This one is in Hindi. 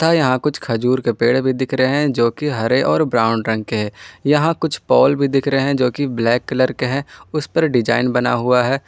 और यहां कुछ खजूर पेड़ भी दिख रहे है जो कि हरे और ब्राउन रंग के है यहां कुछ पोल भी दिख रहे है जो कि ब्लैक कलर के हैं उस पर डिजाइन बना हुआ है।